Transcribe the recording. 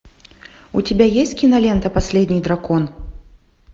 у тебя есть кинолента последний дракон